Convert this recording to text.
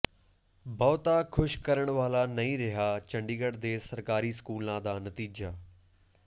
ਬਹੁਤਾ ਖੁਸ਼ ਕਰਨ ਵਾਲਾ ਨਹੀਂ ਰਿਹਾ ਚੰਡੀਗੜ੍ਹ ਦੇ ਸਰਕਾਰੀ ਸਕੂਲਾਂ ਦਾ ਨਤੀਜਾ